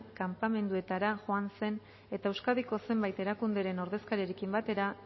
kanpamenduetara joan zen eta euskadiko zenbait erakunderen ordezkariekin batera